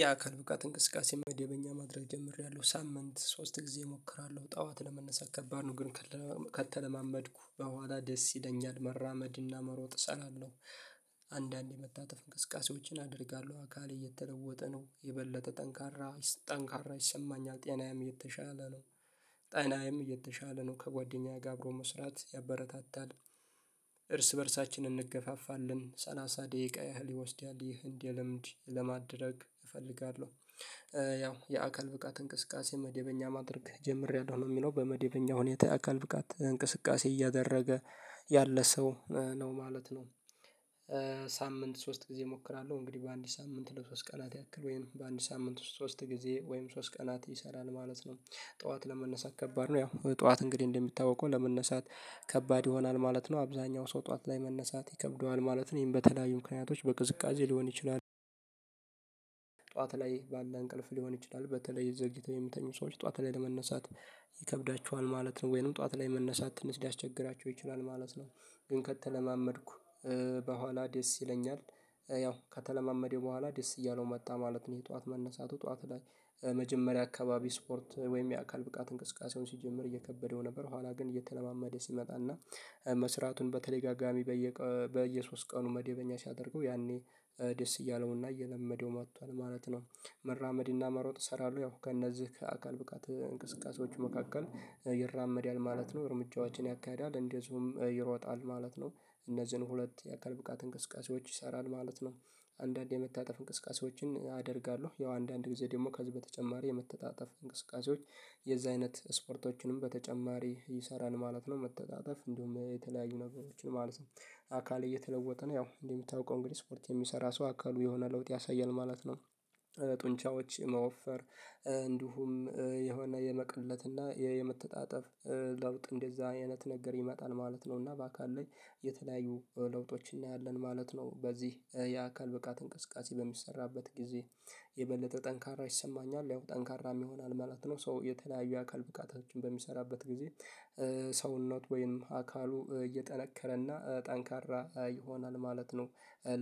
የአካል ብቃት እንቅስቃሴ መደበኛ ማድረግ ጀምሬያለሁ ሳምንት ሶስት ጊዜ እሞክራለሁ ጠዋት ለመነሳት ከባድ ነው ግን ከተለማመድኩ በኋላ ደስ ይለኛል መራመድና መሮጥ እችላለሁ። መታጠፍ እንቅስቃሴዎችን አደርጋለሁ አካሌ የተለወጠ ነው የበለጠ ጠንካራ ጠንካራ ይሰማኛል ጤናም የተሻለ ነው። ጤናዬም እየተሻለ ነው ከጓደኛዬ ጋር አብሮ መስራት ያበረታታል። እርስ በእርሳችን እንገፋፋለን ሰላሳ ደቂቃ ያህል ይወስዳል ይህንን ለምንድነው ለማድረግ እፈልጋለሁ? ያው የአካል ብቃት እንቅስቃሴ መደበኛ ማድረግ ጀምሬያለሁ ነው የሚለው በመደበኛ ሁኔታ አካል ብቃት እንቅስቃሴ እያደረገ ያለ ሰው ነው ማለት ነው። ሳምንት ሶስት ጊዜ እሞክራለሁ እንግዲህ በአንድ ሳምንት ለሶስት ቀናት ያክል ወይም በአንድ ሳምንት ውስጥ ሶስት ጊዜ ወይም ሶስት ቀናት ይሰራል ማለት ነው። ጠዋት ለመነሳት ከባድ ነው ያው ጠዋት እንግዲህ እንደሚታወቀው ለመነሳት ከባድ ይሆናል ማለት ነው አብዛኛው ሰው ጠዋት ላይ መነሳት ይከብደዋል ማለትም ይህን በተለያዩ ምክንያቶች በቅዝቃዜ ሊሆን ይችላል። ላይ ባለ እንቅልፍ ሊሆን ይችላል በተለይ ዘግይተው የሚተኙ ሰዎች ጠዋት ላይ ለመነሳት ይከብዳቸዋል ማለት ነው ወይንም ጠዋት ላይ መነሳት ትንሽ ሊያስቸግራቸው ይችላል ማለት ነው። ግን ከተለማመድኩ በኋላ ደስ ይለኛል ያው ከተለማመደው በኋላ ደስ እያለው መጣ ማለት ነው። የጧት መነሳቱ ጠዋት ላይ መጀመሪያ አካባቢ ስፖርት ወይም የአካል ብቃት እንቅስቃሴውን ሲጀምር እየከበደው ነበር ኋላ ግን እየተለማመደ ሲመጣና መስራቱን በተደጋጋሚ በየ በየሶስት ቀኑ መደበኛ ሲያደርገው ያኔ ደስ እያለውና እየለመደው መጥቷል ማለት ነው። መራመድ እና መሮጥ ይሰራሉ ያው ከእነዚህ ከአካል ብቃት እንቅስቃሴዎች መካከል ይራመዳል ማለት ነው እርምጃዎችን ያካዳል እንደዚሁም ይሮጣል ማለት ነው እነዚህን ሁለት የአካል ብቃት እንቅስቃሴዎች ይሰራል ማለት ነው። አንዳንድ የመታጠፍ እንቅስቃሴዎችን አደርጋለሁ ያው አንዳንድ ጊዜ ደግሞ ከዚህ በተጨማሪ የመታጣጠፍ እንቅስቃሴዎች የዛ አይነት ስፖርቶችንም በተጨማሪ ይሰራል ነው ማለት ነው። እንደውም የተለያዩ ነገሮችን ማለት ነው አካል እየተለወጥን ነው ያው እንዴ የምታውቀው እንግዲህ ስፖርት የሚሰራ ሰው አካሉ የሆነ ለውጥ ያሳያል ማለት ነው። ጡንቻዎች የመወፈር እንዲሁም የሆነ የመቀነትና የመተጣጠፍ ለውጥ እንደዛ አይነት ነገር ይመጣል ማለት ነው እና በአካል ላይ የተለያዩ ለውጦች እናያለን ማለት ነው በዚህ የአካል ብቃት እንቅስቃሴ በሚሰራበት ጊዜ የበለጠ ጠንካራ ይሰማኛል ያው ጠንካራም ይሆናል ማለት ነው። ሰው የተለያዩ አካል ብቃቶችን በሚሰራበት ጊዜ የበለጠ ጠንካራ ይሰማኛል ያው ጠንካራ ይሆናል ማለት ነው ሰው የተለያዩ አካል ብቃቶችን በሚሰራበት ጊዜ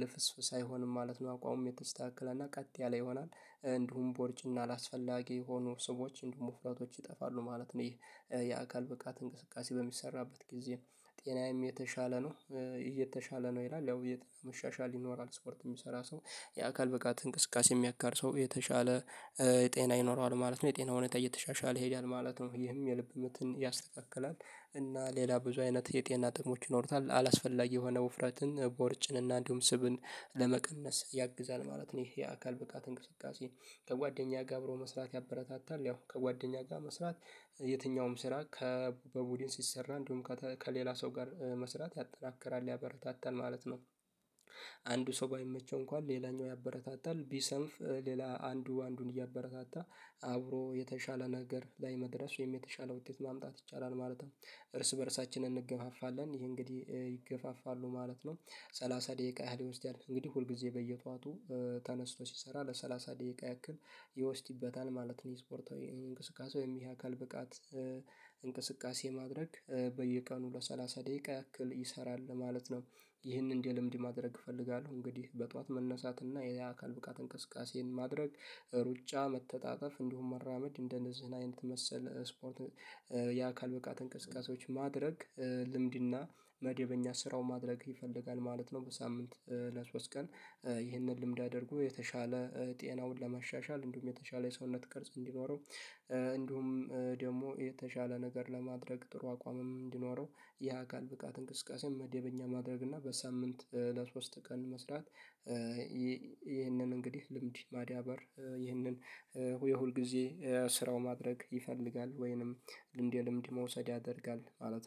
ልፍስፍስ አይሆንም ማለት ነው አቋሙ የተስተካከለ እና ቀጥ ያለ ይሆናል። እንዲሁም ቦርጭና አላስፈላጊ የሆኑ ሰዎች እንደውም ውፍረቶች ይጠፋሉ ማለት ነው ይሄ የአካል ብቃት እንቅስቃሴ በሚሰራበት ጊዜ ጤናዬም የተሻለ ነው። እየተሻለ ነው ይላል ያው እየተሻሻለ ይኖራል ስፖርት የሚሰራ ሰው የአካል ብቃት እንቅስቃሴ የሚያካር ሰው የተሻለ የጤና ይኖረዋል ማለት ነው። የጤና ሁኔታ እየተሻሻለ ይሄዳል ማለት ነው ይህም የልብ ምትን ያስተካክላል እና ሌላ ብዙ አይነት የጤና ጥቅሞች ይኖሩታል አላስፈላጊ የሆነ ውፍረትን ቦርጭን እና እንዲሁም ስብን ለመቀነስ ያግዛል ማለት ነው። ይሄ የአካል ብቃት እንቅስቃሴ ከጓደኛ ጋር አብሮ መስራት ያበረታታል ያው ከጓደኛ ጋር መስራት የትኛውም ስራ ከበቡድን ሲሰራ እንዲሁም ከሌላ ሰው ጋር መስራት ያጠናክራል ያበረታታል ማለት ነው። አንዱ ሰው ባይመቸው እንኳን ሌላኛው ያበረታታል ቢሰንፍ ሌላ አንዱ አንዱን እያበረታታ አብሮ የተሻለ ነገር ላይ መድረስ ወይም የተሻለ ውጤት ማምጣት ይቻላል ማለት ነው። እርስ በእርሳችንን እንገፋፋለን ይሄ እንግዲህ ይገፋፋሉ ማለት ነው ሰላሳ ደቂቃ ያህል ይወስዳል እንግዲህ ሁል ጊዜ በየጠዋቱ ተነስቶ ሲሰራ ለሰላሳ ደቂቃ ያክል ይወስድበታል ማለት ነው ስፖርታዊ እንቅስቃሴ ወይም የአካል ብቃት እንቅስቃሴ ማድረግ በየቀኑ ለሰላሳ ደቂቃ ያክል ይሰራል ማለት ነው። ይህንን እንደ ልምድ ማድረግ እፈልጋለሁ እንግዲህ በጧት መነሳት እና የአካል ብቃት እንቅስቃሴን ማድረግ ሩጫ መተጣጠፍ እንዲሁም መራመድ እንደነዚህን አይነት መሰል ስፖርት የአካል ብቃት እንቅስቃሴዎች ማድረግ ልምድና መደበኛ ስራው ማድረግ ይፈልጋል ማለት ነው። በሳምንት ለሶስት ቀን ይህንን ልምድ አድርጎ የተሻለ ጤናውን ለማሻሻል እንዲሁም የተሻለ የሰውነት ቅርጽ እንዲኖረው እንዲሁም ደሞ የተሻለ ነገር ለማድረግ ጥሩ አቋምም እንዲኖረው የአካል ብቃት እንቅስቃሴ መደበኛ ማድረግ እና በሳምንት ለሶስት ቀን መስራት። ይህንን እንግዲህ ልምድ ማድያ በር ጡንቻዎች የመወፈር እንዲሁም የሆነ የመቅድለትና የመተጣጠፍ ለውጥ እንደዛ አይነት ነገር ይመጣል ማለት ነው እና በአካል ላይ የተለያዩ ለውጦች እናያለን ማለት ነው በዚህ የአካል ብቃት እንቅስቃሴ በሚሰራበት ጊዜ